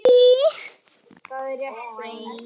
Það er ekki orðum aukið.